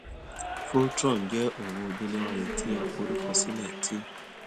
voltron jẹ owo deleware ti a forukọsilẹ ti